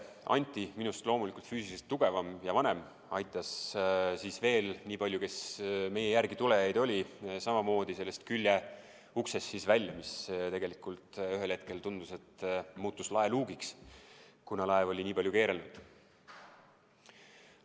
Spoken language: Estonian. Anti, minust vanem ja loomulikult füüsiliselt tugevam, aitas veel nii paljusid, kes meie järel tulid, samamoodi sellest küljeuksest välja, mis tegelikult ühel hetkel tundus, et muutus laeluugiks, kuna laev oli nii palju keerelnud.